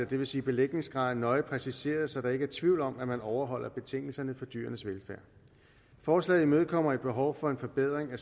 det vil sige belægningsgraden nøje præciseret så der ikke er tvivl om at man overholder betingelserne for dyrenes velfærd forslaget imødekommer et behov for en forbedring af